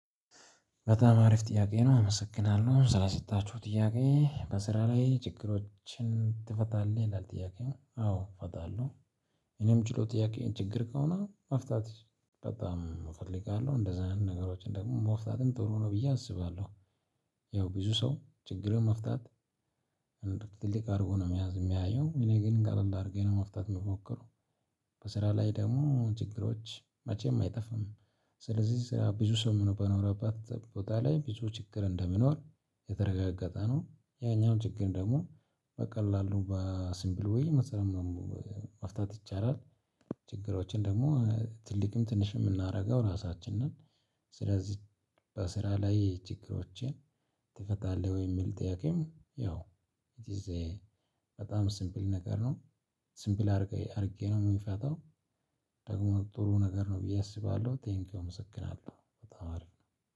በጣም አሪፍ ጥያቄ ነው። አመሰግናለሁ ስለሰጣችሁ ጥያቄ በስራ ላይ ችግሮችን ትፈታለህ? ይላል ጥያቄው አዎ እፈታለሁ። እኔ ምችለው ጥያቄ ችግር ከሆነ መፍታት በጣም እፈልጋለው እንደዛ አይነት ነገሮችን ደግሞ መፍታትም ጥሩ ነው ብዬ አስባለሁ። ያው ብዙ ሰው ችግርን መፍታት። ትልቅ አድርጎ ነው የሚያዝ የሚያየው እኔ ግን ቀለል አድርጌ ነው መፍታት የምሞክረው። በስራ ላይ ደግሞ ችግሮች መቼም አይጠፋም። ስለዚህ ስራ ብዙ ሰው በኖረበት ቦታ ላይ ብዙ ችግር እንደሚኖር የተረጋገጠ ነው። ያኛው ችግር ደግሞ በቀላሉ በሲምፕል ወይ መስራት? መፍታት ይቻላል። ችግሮችን ደግሞ ትልቅም ትንሽም የምናደርገው ራሳችን ነን። ስለዚህ በስራ ላይ ችግሮችን ትፈታለህ? ወይ የሚል ጥያቄም ያው ኢት ኢዝ በጣም ሲምፕል ነገር ነው። ሲምፕል አድርጌ ነው የምፈታው። ደግሞ ጥሩ ነገር ነው ብዬ አስባለሁ። ቴንኪው አመሰግናለሁ በጣም አሪፍ ነው